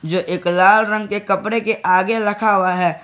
जो एक लाल रंग के कपड़े के आगे रखा हुआ है।